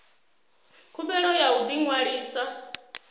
khumbelo ya u ḓi ṅwalisa